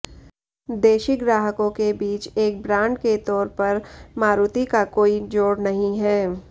देशी ग्राहकों के बीच एक ब्रांड के तौर पर मारुति का कोई जोड़ नहीं है